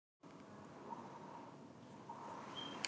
Það er drengur með dökkan koll.